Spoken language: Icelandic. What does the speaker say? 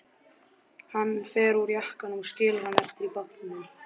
Hann fer úr jakkanum og skilur hann eftir í bátnum.